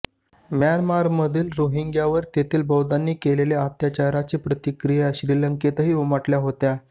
म्यानमारमधील रोहिंग्यांवर तेथील बौद्धांनी केलेल्या अत्याचाराच्या प्रतिक्रिया श्रीलंकेतही उमटल्या होत्या